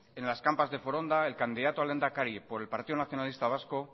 en las campas de foronda el candidato a lehendakari por el partido nacionalista vasco